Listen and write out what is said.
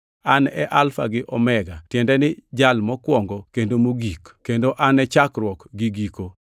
An e Alfa gi Omega, tiende ni Jal Mokwongo kendo Mogik kendo An e Chakruok gi Giko.